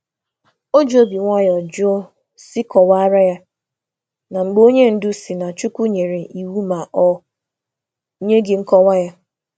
Ọ̀ jụrụ nwayọ nwayọ ka ha kọwaa ya, mgbe onye isi sị na Chineke sị, ma e nweghị nkọwa.